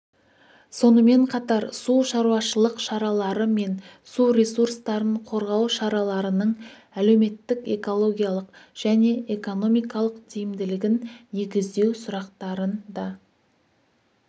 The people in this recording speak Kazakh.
сонымен қатар су шаруашылық шаралары мен су ресурстарын қорғау шараларының әлеуметтік экологиялық және экономикалық тиімділігін негіздеу сұрақтарын да